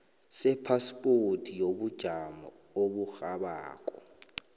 sephaspoti yobujamo oburhabako